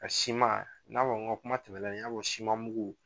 Ka siman, n y'a fɔ n ka kuma tɛmɛnen, n y'a fɔ siman mugu